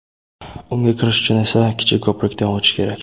Unga kirish uchun esa kichik ko‘prikdan o‘tish kerak.